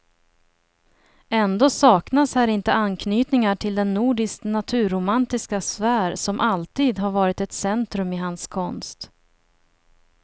Ändå saknas här inte anknytningar till den nordiskt naturromantiska sfär som alltid har varit ett centrum i hans konst.